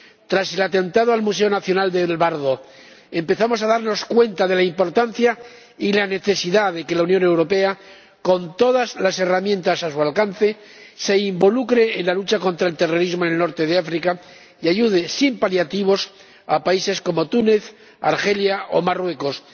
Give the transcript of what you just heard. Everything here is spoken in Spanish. Tras el atentado en el Museo Nacional del Bardo empezamos a darnos cuenta de la importancia y la necesidad de que la Unión Europea, con todas las herramientas a su alcance, se involucre en la lucha contra el terrorismo en el norte de África y ayude sin paliativos a países como Túnez, Argelia o Marruecos.